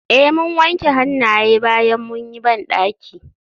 Eh mun wanke hannaye bayan mun yi bandaki.